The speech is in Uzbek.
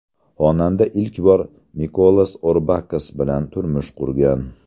Xonanda ilk bor Mikolas Orbakas bilan turmush qurgan.